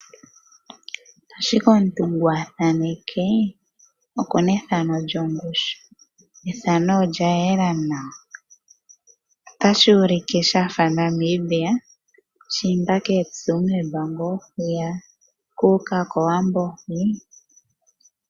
Ashike omuntu ngu a thaneke oku na ethano lyongushu. Ethano olya yela nawa. Otashi ulike sha fa Namibia, ngiika koTsumeb ngaa oku uka kOwambo hwiyaka.